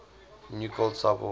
new cold cyberwar